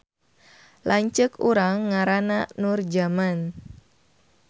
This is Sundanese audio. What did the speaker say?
Lanceuk urang ngaranna Nurjaman